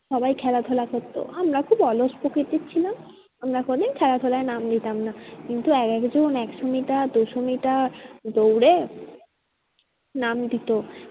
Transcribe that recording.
সবাই খেলা ধুলা করতো আমরা খুব অলস প্রকৃতির ছিলাম আমরা কোনোদিন খেলাধুলায় নাম দিতাম না। কিন্তু এক একজন একশো মিটার দুশো মিটার দৌড়ে নাম দিতো